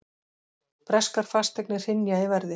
Breskar fasteignir hrynja í verði